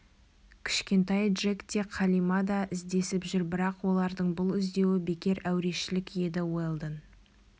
кішкентай джек те халима да іздесіп жүр бірақ олардың бұл іздеуі бекер әурешілік еді уэлдон